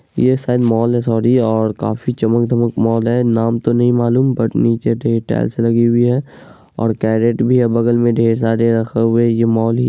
ये शायद मॉल है सोरी और काफी चमक-धमक मॉल है नाम तो नहीं मालूम बट नीचे डे टायल्स लगी हुए हैं और कैरेट भी हैं बगल में ढेर सारे रखे हुए ये मॉल ही --